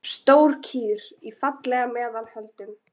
Stór kýr, falleg í meðal holdum.